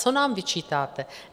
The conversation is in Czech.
Co nám vyčítáte?